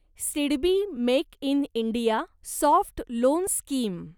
SIDBI make in India soft loan scheme